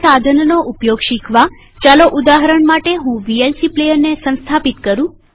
આ સાધનનો ઉપયોગ શીખવાચાલો ઉદાહરણ માટે હું વીએલસી પ્લેયરને સંસ્થાપિત કરું